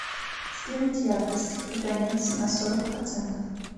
сделать яркость каганец на сорок процентов